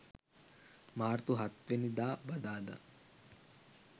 මාර්තු 07 වැනි දා බදාදා